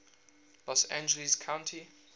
los angeles county